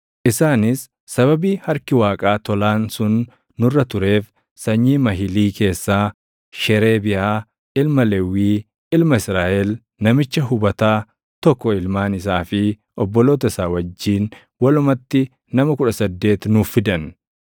Isaanis sababii harki Waaqaa tolaan sun nurra tureef sanyii Mahilii keessaa Sheereebiyaa ilma Lewwii, ilma Israaʼel, namicha hubataa tokko ilmaan isaa fi obboloota isaa wajjin walumatti nama 18 nuuf fidan;